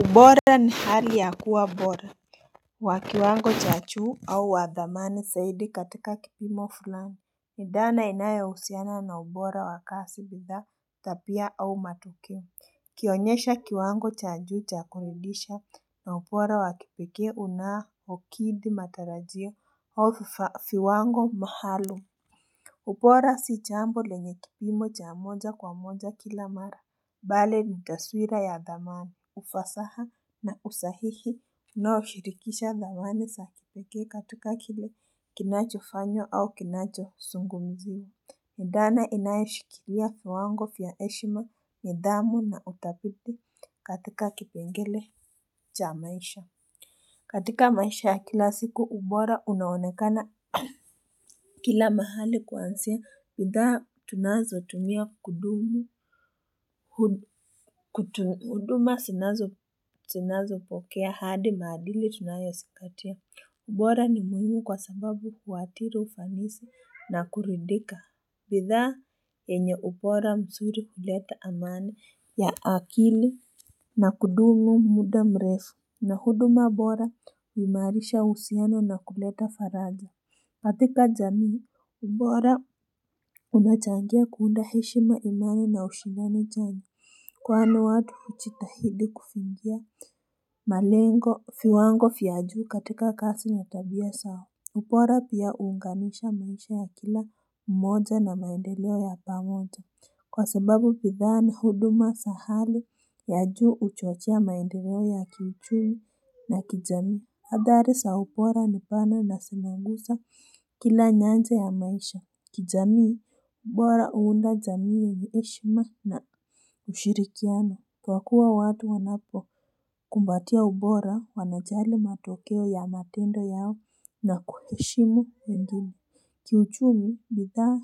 Ubora ni hali ya kuwa bora wa kiwango cha chuu au wa dhamani saidi katika kipimo fulani ni dhana inayo usiana na ubora wa kasi bidhaa tapia au matokeo Kionyesha kiwango cha juu cha kamilisha na upora wa kipeke unaokidi matarajio au fiwango mahalum Upora si chambo lenye kipimo cha mmoja kwa mmoja kila mara Bali ni taswira ya dhamani ufasaha na usahihi unaoshirikisha dhamani sa kipeke katika kile kinacho fanywa au kinacho sungumziwa ni dhana inaoshikilia fiwango fya heshima nidhamu na utapiti katika kipengele cha maisha katika maisha ya kila siku ubora unaonekana Kila mahali kuansia, bidhaa tunazo tumia kudumu, huduma sinazo pokea hadi maadili tunayosinkatia. Ubora ni muhimu kwa sababu kuatiri ufanisi na kuridika. Bidhaa enye ubora msuri kuleta amani ya akili na kudumu muda mrefu na huduma bora uimarisha usiano na kuleta faraja. Katika jamii, ubora unachangia kuunda heshima imani na ushindani chanya. Kwani watu uchitahidi kufingia malengo, fiwango fya juu katika kasi na tabia sawa. Upora pia uunganisha maisha ya kila mmoja na maendeleo ya pamoja. Kwa sababu pidhaa na huduma sa hali ya juu uchochea maendeleo ya kiuchumi na kijamii. Adhari sa upora ni pana na sina gusa kila nyanja ya maisha kijamii ubora uunda zamii yenye heshima na ushirikiano kwa kuwa watu wanapo kumbatia ubora wanajali matokeo ya matendo yao na kuheshimu wengine Kiuchumi bidhaa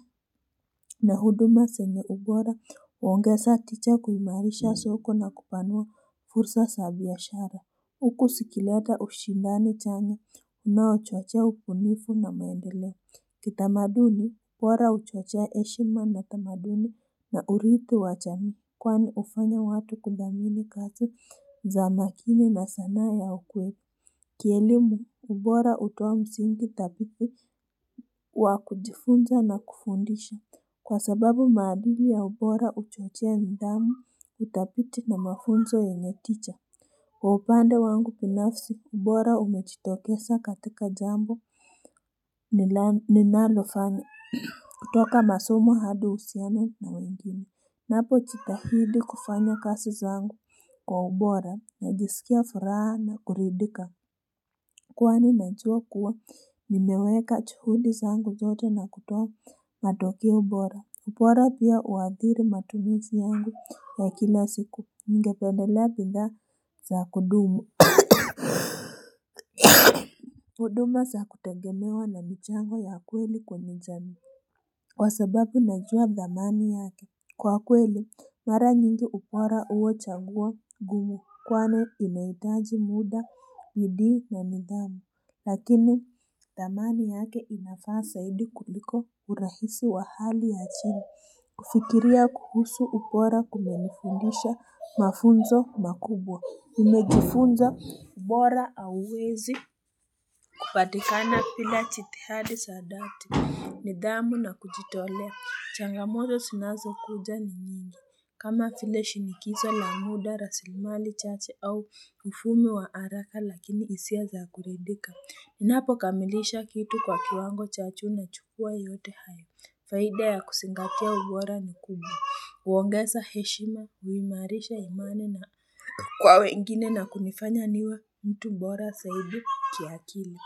na huduma senye ubora uongesa ticha kuimarisha soko na kupanua fursa sa biyashara Huku sikileta ushindani chanya unao chochea upunifu na maendeleo. Kitamaduni, ubora uchochea heshima na tamaduni na urithi wa chamii. Kwani ufanya watu kudhamini kazi za makini na sanaa ya ukweli. Kielimu, ubora hutoa msingi tapithi wa kujifunza na kufundisha. Kwa sababu maadili ya ubora uchochea nidhamu, utapithi na mafunzo yenye ticha. Kwa upande wangu pinafsi kubora umechitokesa katika jambo ninalofanya kutoka masomo hadi usiano na wengine Napo chitahidi kufanya kasi zangu kwa ubora najisikia furaha na kuridika kwani najua kuwa nimeweka chuhudi zangu zote na kutoa matokeo ubora Upora pia uwadhiri matumuzi yangu ya kila siku ningependelea pidha za kudumu uduma sa kutegemewa na michango ya kweli kwenye jamii Kwa sababu najua dhamani yake Kwa kweli mara nyingi upora huwa changuo gumu kwani inaitaji muda bidii na nidhamu Lakini dhamani yake inafaa saidi kuliko urahisi wa hali ya chani kufikiria kuhusu upora kumenifundisha mafunzo makubwa umejifunza ubora auwezi kupatikana pila chitihadi sa dati nidhamu na kujitolea changamoto sinazo kuja ni nyingi kama file shinikizo, la muda, raslimali, chache au mfumo wa haraka lakini hisia za kuridika Inapokamilisha kitu kwa kiwango cha chuu nachukua yote haya Faida ya kusingatia ubora ni kubwa uongeza heshima, uimarisha imani na Kwa wengine na kunifanya niwe mtu mbora saidi kiakili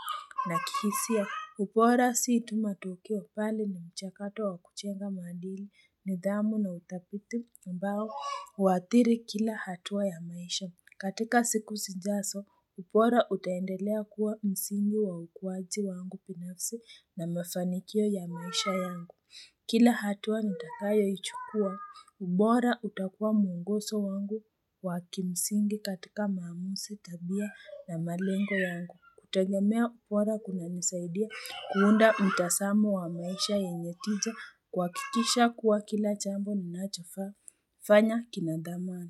na kihisia upora si tu matokeo pali na mchakato wa kuchenga maadili nidhamu na uthapithi ambao uwathiri kila hatua ya maisha. Katika siku sijaso, upora utaendelea kuwa msingi wa ukuwaji wangu pinafsi na mefanikio ya maisha yangu. Kila hatua nitakayo ichukua, ubora utakua mwongoso wangu wa kimsingi katika maamusi tabia na malengo yangu. Kutegemea upora kuna nisaidia kuunda mtasamo wa maisha yenye tija kuwakikisha kuwa kila chambo nacho fanya kinadamani.